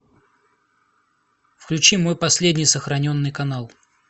включи мой последний сохраненный канал